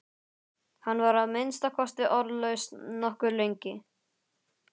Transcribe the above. Hann var að minnsta kosti orðlaus nokkuð lengi.